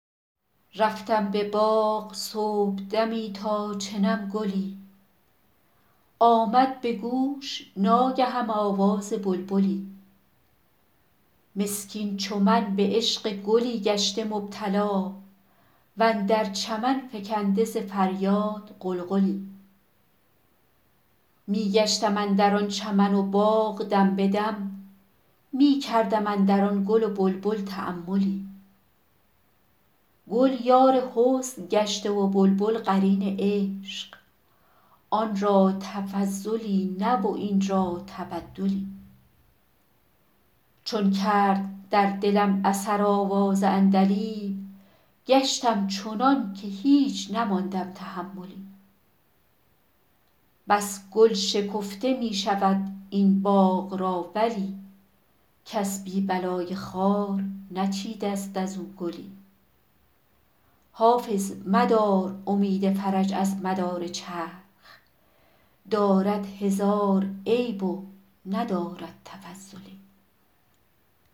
رفتم به باغ صبحدمی تا چنم گلی آمد به گوش ناگهم آواز بلبلی مسکین چو من به عشق گلی گشته مبتلا و اندر چمن فکنده ز فریاد غلغلی می گشتم اندر آن چمن و باغ دم به دم می کردم اندر آن گل و بلبل تاملی گل یار حسن گشته و بلبل قرین عشق آن را تفضلی نه و این را تبدلی چون کرد در دلم اثر آواز عندلیب گشتم چنان که هیچ نماندم تحملی بس گل شکفته می شود این باغ را ولی کس بی بلای خار نچیده ست از او گلی حافظ مدار امید فرج از مدار چرخ دارد هزار عیب و ندارد تفضلی